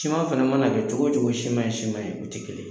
Siman fɛnɛ mana kɛ cogo o cogo siman ye siman ye, u te kelen ye.